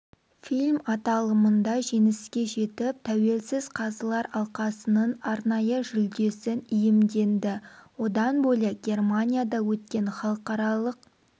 фильм аталымында жеңіске жетіп тәуелсіз қазылар алқасының арнайы жүлдесін иемденді одан бөлек германияда өткен халықаралық